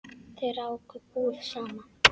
Þau ráku búð saman.